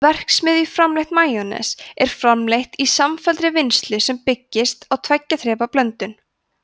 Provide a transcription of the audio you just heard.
verksmiðjuframleitt majónes er framleitt í samfelldri vinnslu sem byggist á tveggja þrepa blöndun